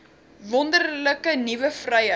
wonderlike nuwe vryheid